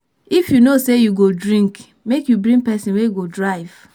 If you know sey you go drink, make you bring pesin wey go drive.